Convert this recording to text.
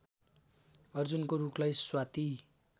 अर्जुनको रूखलाई स्वाति